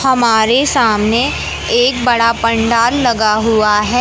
हमारे सामने एक बड़ा पंडाल लगा हुवा हैं।